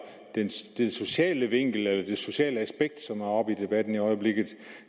den sociale vinkel eller det sociale aspekt som er oppe i debatten i øjeblikket